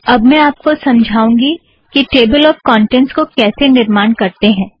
अब मैं आप को समझाऊँगी कि टेबल ऑफ़ कौंटेंट्स को कैसे निर्माण करतें हैं